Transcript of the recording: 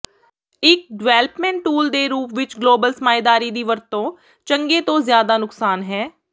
ਇੱਕ development tool ਦੇ ਰੂਪ ਵਿੱਚ ਗਲੋਬਲ ਸਰਮਾਏਦਾਰੀ ਦੀ ਵਰਤੋਂ ਚੰਗੇ ਤੋਂ ਜ਼ਿਆਦਾ ਨੁਕਸਾਨ ਹੈ